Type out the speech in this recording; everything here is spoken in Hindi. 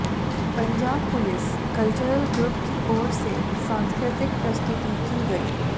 पंजाब पुलिस कल्चरल ग्रुप की ओर से सांस्कृतिक प्रस्तुति की गई